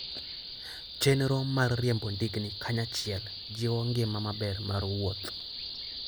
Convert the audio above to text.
Chenro mar riembo ndigni kanyachiel jiwo ngima maber mar wuoth.